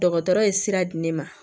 Dɔgɔtɔrɔ ye sira di ne ma